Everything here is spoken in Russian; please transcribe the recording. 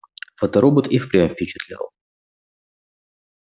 фоторобот и впрямь впечатлял